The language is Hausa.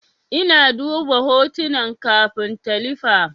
Ina duba hotunan kafin talifi.